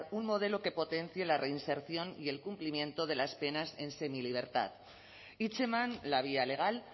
un modelo que potencie la reinserción y el cumplimiento de las penas en semilibertad hitzeman la vía legal